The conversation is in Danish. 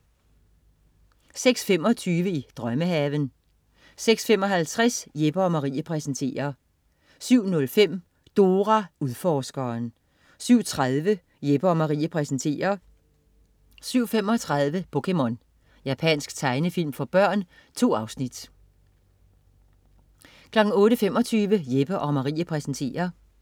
06.25 I drømmehaven 06.55 Jeppe & Marie præsenterer 07.05 Dora Udforskeren 07.30 Jeppe & Marie præsenterer 07.35 POKéMON. Japansk tegnefilm for børn. 2 afsnit 08.25 Jeppe & Marie præsenterer